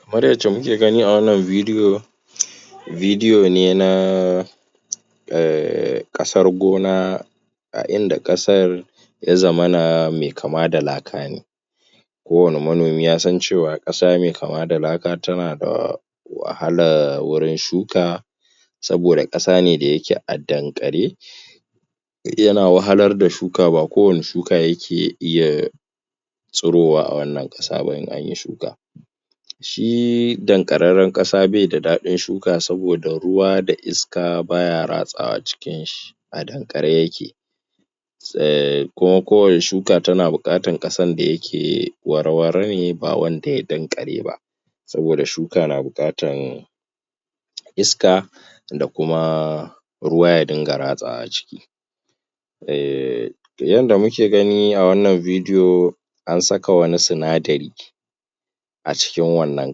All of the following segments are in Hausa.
Kamar yadda kuke gani a wannan bidiyo, Bidiyo ne na um ƙasar gona a inda ƙasar ya zamana mai kama da laka ne. Kowane manomi ya san cewa, ƙasa mai kama da laka tana da wahala wurin shuka, saboda ƙasa ne da yake a danƙare, yana wahalar da shuka, ba kowane shuka yake iya tsirowa a wannan ƙasa ba in an yi shuka. Shi danƙararren ƙasa bai da daɗin shuka, saboda ruwa da iska ba ya ratsawa cikinshi a danƙare yake. um Kuma kowane shuka tana buƙatar ƙasan da yake wara-wara ne ba wanda ya danƙare ba. Saboda shuka na buƙatan, iska, da kuma ruwa ya dinga ratsawa ciki. um Yadda muke gani a wannan bidiyo, an saka wani sinadari, a cikin wannan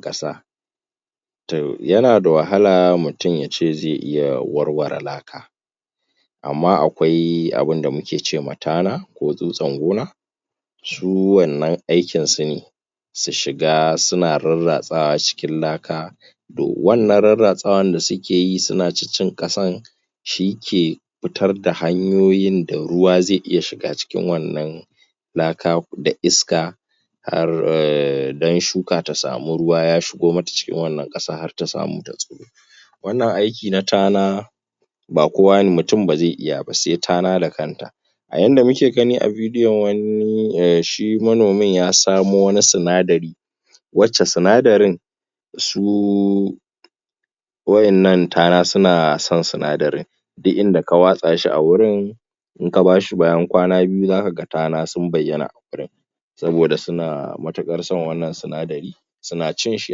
ƙasa. To yana da wahala mutum ya ce zai iya warware laka. Amma akwai abinda muke ce ma tana ko tsutsar gona, su wannan aikinsu ne su shiga suna rarratsawa cikin laka To wannan rarratsawan da suke yi suna cin kasar shike fitar da hanyoyin da ruwa zai iya shiga cikin wannan laka da iska, don shuka ta samu ruwa ya shigo mata cikin wannan ƙasa har ta samu ta tsiro. Wannan aiki na tana, Ba kowa ne, mutum ba zai iya ba sai tana da kanta. A yanda muke gani a bidiyon, shi manomin ya samo wani sinadari wacce sindarin, su waɗannan tana suna son sinadarin. Duk inda ka watsa shi a wurin, in ka ba shi bayan kwana biyu, za ka ga tana sun bayyana wurin. Saboda suna matuƙar son wannan sinadari, suna cin shi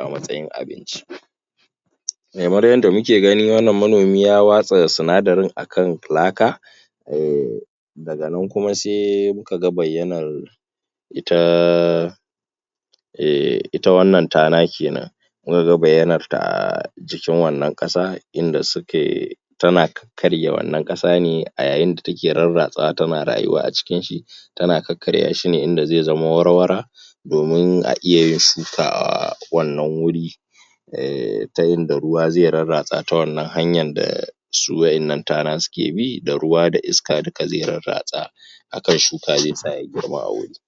a matsayin abinci. Kamar yadda muke gani wannan manomi ya watsa sinadarin a kan laka, um daga nan kuma sai muka ga bayyanar ita um wannan tana ke nan. Muka ga bayyanarta a jikin wannan ƙasa inda suke, tana kakkarya wannan ƙasa ne, a yayin da take rarratsawa tana rayuwa a cikinshi. Tana kakkarya shi ne inda zai zama wara-wara. Domin a iya yin shuka a wannan wuri. um Ta inda ruwa zai rarratsawa ta wannan hanyar da su waɗannan tana suke bi, da ruwa da iska duka zai rarratsa. a kai shuka zai tsaya ya girma a wajen.